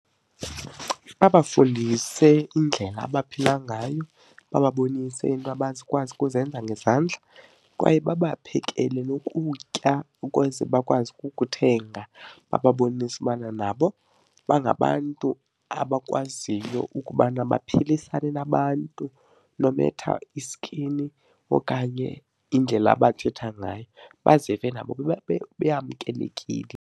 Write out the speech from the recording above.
Babafundise indlela abaphila ngayo, bababonise into abazokwazi ukuzenza ngezandla kwaye babaphekele nokutya ukuze bakwazi ukukuthenga bababonise ubana nabo bangabantu abakwaziyo ukubana baphilisane nabantu no matter i-skin okanye indlela abathetha ngayo, bazive nabo beyamkelekile.